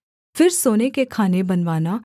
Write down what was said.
फिर सोने के खाने बनवाना